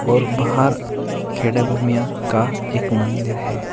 और बाहर खेड़ा भूमिया का एक मंदिर है।